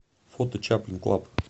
фото чаплин клаб